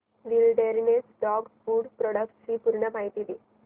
wilderness dog food products ची पूर्ण माहिती दे